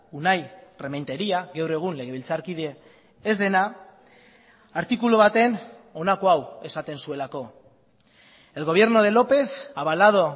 unai rementeria gaur egun legebiltzarkide ez dena artikulu baten honako hau esaten zuelako el gobierno de lópez avalado